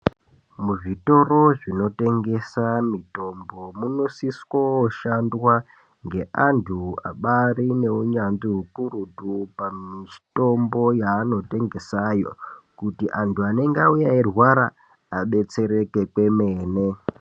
Muzvitoro zvinotengesa mitombo munosiso shandiswa neantu abari une unyanzvi ukurutu pamitombo yaanotengesa yo kuti antu anenge auya eyi rwara adetsereke kwemene.